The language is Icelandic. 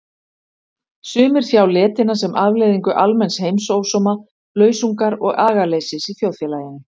Sumir sjá letina sem afleiðingu almenns heimsósóma, lausungar og agaleysis í þjóðfélaginu.